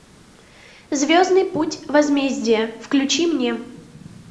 звездный путь возмездие включи мне